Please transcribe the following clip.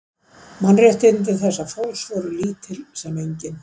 Mannréttindi þessa fólks voru lítil sem engin.